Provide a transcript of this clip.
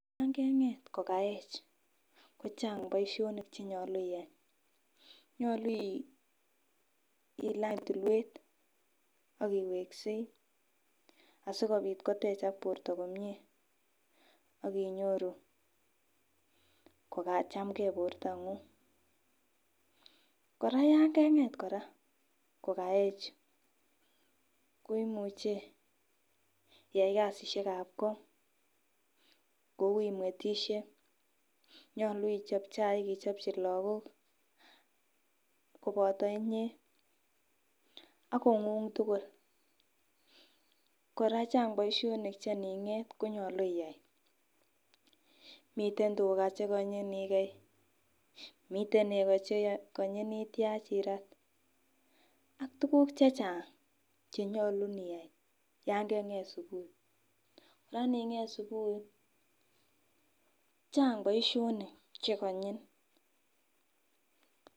Yan keng'et ko kaech ko chang boisionik chenyolu iyai, nyolu ilany tulwet ak iweksei asikobit kotechak borto komie ak inyoru kokachamgee bortong'ung kora yan keng'et kora kokaech ko imuche iyai kasisiek ab ko kou imwetisie, nyolu ichop chaik ichopchi lakok koboto inyee ak kong'ung tugul, kora chang boisionik che ining'et konyolu iyai, miten tuga chekonyin ikei miten nego chekonyin ityach irat ak tuguk chechang chenyolu iyai yan keng'et subui. Kora ining'et subui chang boisionik chekonyin